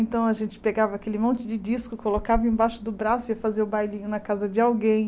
Então a gente pegava aquele monte de disco, colocava embaixo do braço e ia fazer o bailinho na casa de alguém.